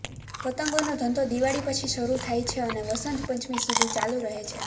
પતંગનો ધંધો દિવાળી પછી શરૂ થાય છે અને વસંત પંચમી સુધી ચાલુ રહે છે